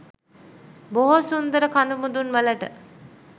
බොහෝ සුන්දර කදුමුදුන් වලට